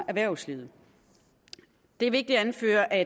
erhvervslivet det er vigtigt at anføre at